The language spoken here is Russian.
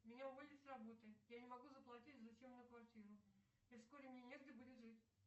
меня уволили с работы я не могу заплатить за съемную квартиру и вскоре мне негде будет жить